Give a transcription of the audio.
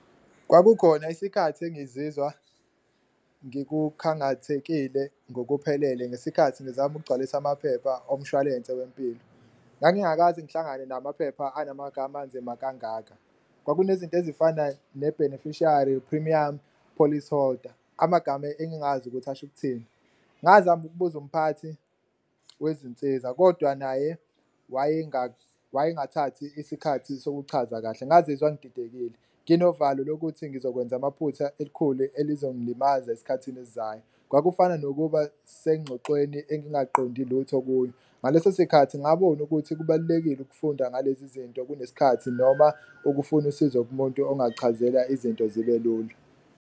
Kwakukhona isikhathi engizizwa ngikukhangathekile ngokuphelele ngesikhathi ngizama ukugcwalisa amaphepha omshwalense wempilo, ngangingakaze ngihlangane namaphepha anamanga anzima kangaka. Kwakunezinto ezifana ne-beneficiary, premiums, policyholder amagama engingazi ukuthi asho ukuthini, ngazama ukubuza umphathi wezinsiza kodwa naye wayengathathi isikhathi sokuchaza kahle. Ngazizwa ngididekile nginovalo lokuthi ngizokwenza amaphutha elikhulu elizongilimaza esikhathini esizayo, kwakufana nokuba sengxoxweni engingaqondi lutho kuyo. Ngalesosikhathi ngabona ukuthi kubalulekile ukufunda ngalezi zinto, kunesikhathi noma ukufuna usizo kumuntu ongakuchazela izinto zibe lula.